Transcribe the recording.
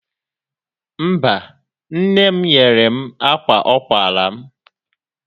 Mba, nne m nyere m akwa ọ kwara m.